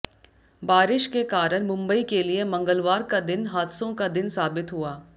बारिश के कारण मुंबई के लिए मंगलवार का दिन हादसों का दिन साबित हुआ